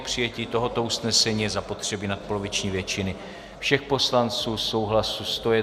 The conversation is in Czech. K přijetí tohoto usnesení je zapotřebí nadpoloviční většiny všech poslanců, souhlasu 101 poslance.